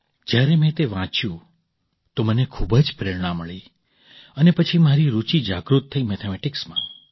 જ્યારે મેં તે વાંચ્યું તો મને ખૂબ જ પ્રેરણા મળી અને પછી મારી રૂચિ જાગૃત થઈ મેથેમેટિક્સમાં